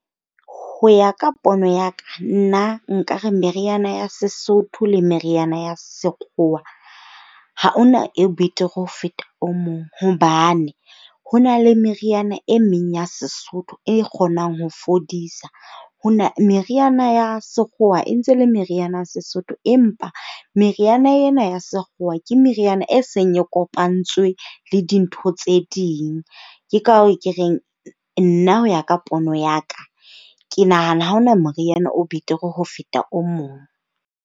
Ho ya ka pono ya ka, nna nkare meriana ya Sesotho le meriana ya Sekgowa ha ona e betere ho feta o mong. Hobane ho na le meriana e meng ya Sesotho e kgonang ho fodisa. Ho na, meriana ya sekgowa e ntse le meriana Sesotho, empa meriana ena ya Sekgowa ke meriana e seng e kopantsweng le dintho tse ding. Ke ka hoo ke reng nna ho ya ka pono ya ka, ke nahana ha hona moriana o betere ho feta o mong.